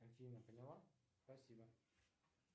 афина поняла спасибо